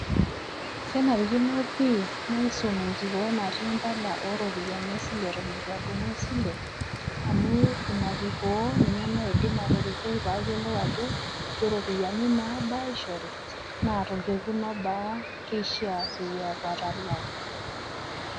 Kenarikino pii naisom enkikoo natii impala o rupiani esile eton eitu adumu esile, amu ina kikoo ninye naidim atorikoi payiolou ajo ke rupiani nabaa aishori naa tolkekun obaa keishaa peyia aku atalaa.